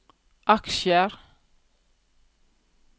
aksjer